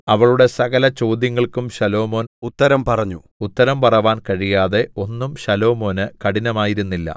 അവളുടെ സകലചോദ്യങ്ങൾക്കും ശലോമോൻ ഉത്തരം പറഞ്ഞു ഉത്തരം പറവാൻ കഴിയാതെ ഒന്നും ശലോമോന് കഠിനമായിരുന്നില്ല